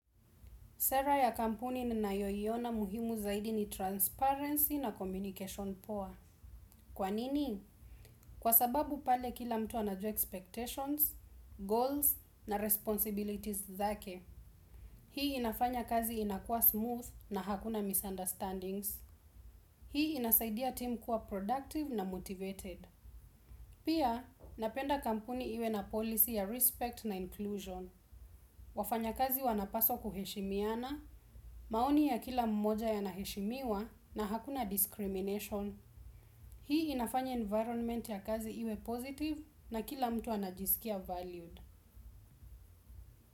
Sera ya kampuni ninayoina muhimu zaidi ni transparency na communication poa. Kwa nini? Kwa sababu pale kila mtu anajua expectations, goals na responsibilities zake. Hii inafanya kazi inakua smooth na hakuna misunderstandings. Hii inasaidia team kuwa productive na motivated. Pia, napenda kampuni iwe na policy ya respect na inclusion. Wafanyakazi wanapaswa kuheshimiana. Maoni ya kila mmoja yanaheshimiwa na hakuna discrimination. Hii inafanya environment ya kazi iwe positive na kila mtu anajisikia valued.